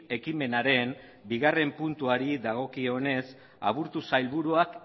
ekimenaren bigarren puntuari dagokionez aburto sailburuak